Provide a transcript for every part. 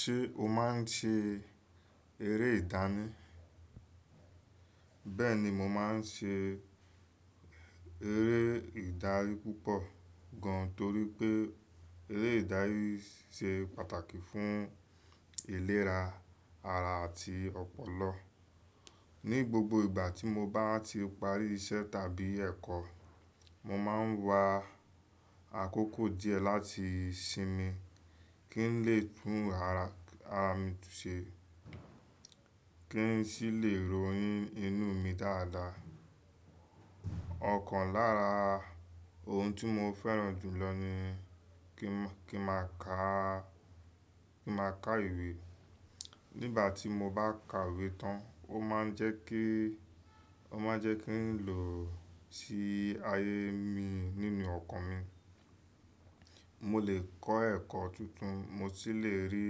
Ṣé o máa ń ṣe eré ìdárin? Bẹ́ẹ̀ni, mo máa ń ṣe eré ìdárin púpọ̀ gan, torí pé eré ìdárin se pàtàkì fún ìlera ara àti ọpọlọ. Ní gbogbo ìgbà tí mo bá ti parí iṣẹ́ tàbí ẹ̀kọ́, mo máa ń wa àkókò díẹ̀ láti sinmi kí n lè tún ara mi ṣe kí n sì lè rò inú mi dáadáa. Ọ̀kan lára ohun tí mo fẹ́ràn jù lọ ni kí n máa ka, kí n máa ka ìwé. Nígbà tí mo bá ka ìwé tán, o máa ń jẹ́ kí, o máa ń jẹ́ kí n lò ó sí ayé mi nínú ọkàn mi. Mo lè kọ́ ẹ̀kọ́ tuntun, mo sì lè rí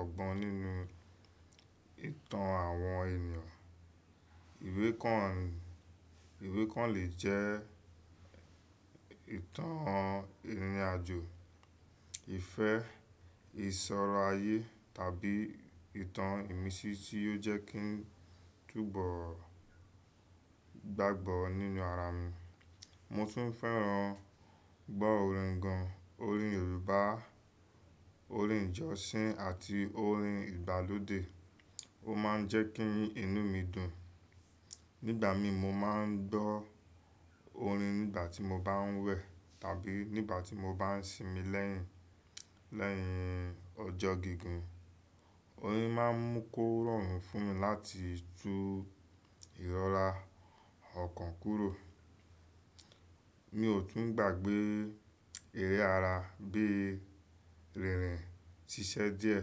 ọgbọ́n nínú ìtàn àwọn ènìyàn. Ìwé kan, ìwé kan lè jẹ́ ìtàn ìrìnàjò, ìfẹ́, ìṣọ̀rọ̀ ayé tàbí ìtàn ìmísí tí yóò jẹ́ kí n túbọ̀ gbàgbọ́ nínú ara mi. Mo tún fẹ́ràn gbọ́ orin gan, orin Yorùbá, orin ìjọsìn àti orin ìgbàlódé. O máa ń jẹ́ kí inú mi dùn. Nígbà mi mo máa ń gbọ́ orin nígbà tí mo bá ń wẹ̀ tàbí nígbà tí mo bá ń sinmi lẹ́yìn, lẹ́yìn ọjọ́ gígùn. Orin máa ń mú kó rọrùn fún mi láti tú ìrọ́ra ọ̀kan kúrò. Mi ò tún gbàgbé eré ara bíi rírin, ṣíṣe díẹ̀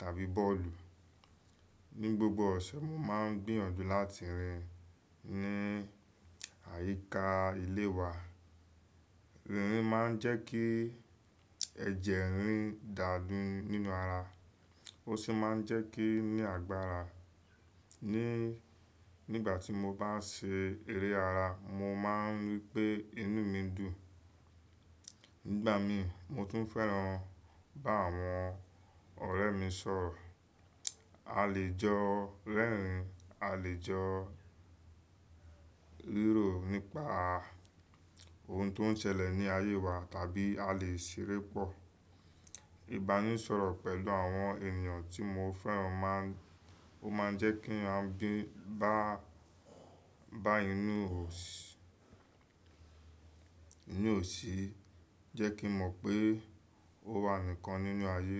tàbí bọ́ọ̀lù. Ní gbogbo ọ̀sẹ̀, mo máa ń gbìyànjú láti rìn ní àyíká ilé wa. Irin máa ń jẹ́ kí ẹ̀jẹ̀ rín dàju nínú ara. Ó sì máa ń jẹ́ kí n ní agbára. Ni, nígbà tí mo bá ń ṣe eré ara, mo máa ń rí pé inú mi dùn. Nígbà mi mo tún fẹ́ràn bá àwọn ọ̀rẹ́ mi sọ̀rọ̀. A lè jọ rerín, a lè jọ ríro nípa ohun tó ń ṣẹlẹ̀ ní ayé wa tàbí a lè ṣeré pọ̀. Ìbánisọ̀rọ̀ pẹ̀lú àwọn ènìyàn tí mo fẹ́ràn máa ń, ó máa ń jẹ́ kí a bíi bá, bá inú ò sí, jẹ́ kí n mọ̀ pé ó wà nìkan nínú ayé.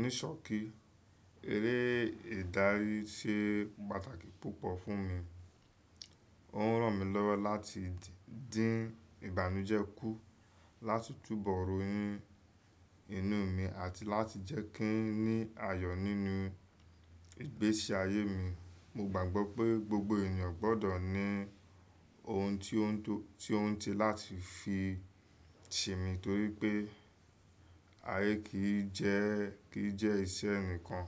Nisọki, eré ìdárin ṣe pàtàkì púpọ̀ fún mi. Ó ń ràn mí lọ́wọ́ láti dìn Ìbànújẹ́ kú, láti túbọ̀ rònu inú mi àti láti jẹ́ kí n ní ayọ̀ nínú ìgbésí ayé mi. Mo gbàgbọ́ pé gbogbo ènìyàn gbọ́dọ̀ ní ohun tó ń to, tó ń tilẹ́ láti fi sinmi torí pé ayé kì í jẹ́, kì í jẹ́ iṣẹ́ ẹnìkan.